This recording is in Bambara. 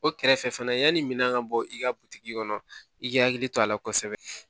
O kɛrɛfɛ fana yanni minan ka bɔ i ka butigi kɔnɔ i k'i hakili to a la kosɛbɛ